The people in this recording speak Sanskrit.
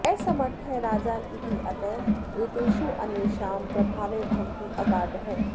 असमर्थः राजा इत्यतः एतेषु अन्येषां प्रभावः भवति अगाधः